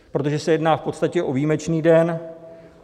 Protože se jedná v podstatě o výjimečný den.